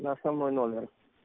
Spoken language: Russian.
на основной номер